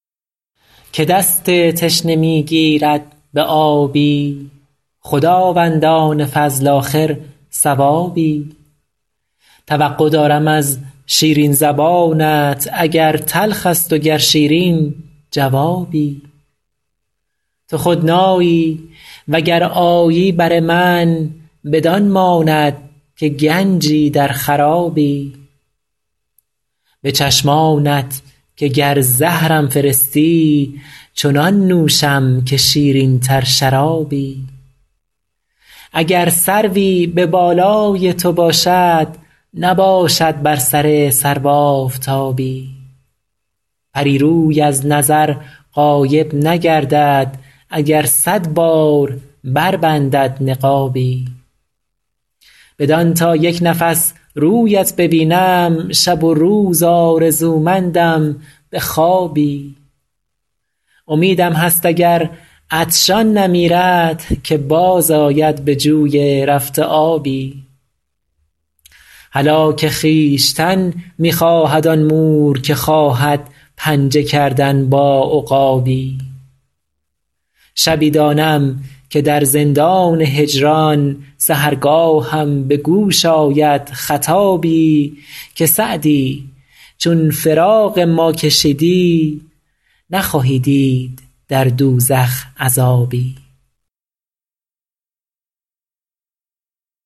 که دست تشنه می گیرد به آبی خداوندان فضل آخر ثوابی توقع دارم از شیرین زبانت اگر تلخ است و گر شیرین جوابی تو خود نایی و گر آیی بر من بدان ماند که گنجی در خرابی به چشمانت که گر زهرم فرستی چنان نوشم که شیرین تر شرابی اگر سروی به بالای تو باشد نباشد بر سر سرو آفتابی پری روی از نظر غایب نگردد اگر صد بار بربندد نقابی بدان تا یک نفس رویت ببینم شب و روز آرزومندم به خوابی امیدم هست اگر عطشان نمیرد که باز آید به جوی رفته آبی هلاک خویشتن می خواهد آن مور که خواهد پنجه کردن با عقابی شبی دانم که در زندان هجران سحرگاهم به گوش آید خطابی که سعدی چون فراق ما کشیدی نخواهی دید در دوزخ عذابی